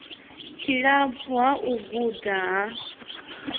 tshilapfu ha u guda ha